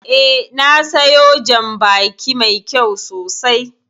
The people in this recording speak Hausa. Eh, na siyo jan baki mai kyau sosai